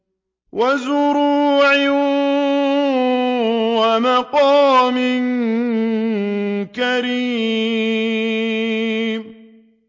وَزُرُوعٍ وَمَقَامٍ كَرِيمٍ